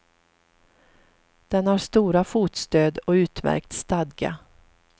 Den har stora fotstöd, och utmärkt stadga.